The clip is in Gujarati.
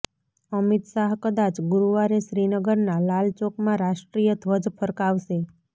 અમિત શાહ કદાચ ગુરુવારે શ્રીનગરના લાલ ચોકમાં રાષ્ટ્રીય ધ્વજ ફરકાવશે